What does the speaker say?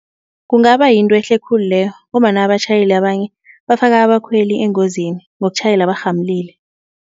Kungaba yinto ehle khulu leyo ngombana abatjhayeli abanye bafaka abakhweli engozini ngokutjhayela barhamulile.